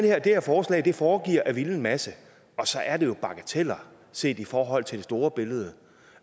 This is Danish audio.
her forslag foregiver at ville en masse og så er det jo bagateller set i forhold til det store billede